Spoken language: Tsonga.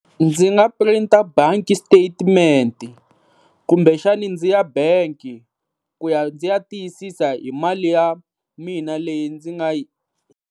Ndzi nga print-a bank statement kumbe xana ndzi ya bank-i ku ya ndzi ya tiyisisa hi mali ya mina leyi ndzi nga yi.